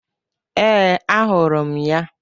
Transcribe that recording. Ee, ahụrụ m ya.